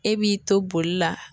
E b'i to boli la